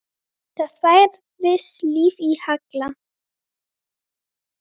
Það færðist líf í Halla.